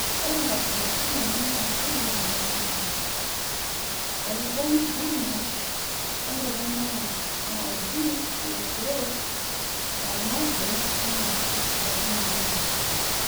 Ore nkabilaritin enye naa keji money makers, Elgon ndume orkilie ooji Rio grande , marmande naa keisidan oleng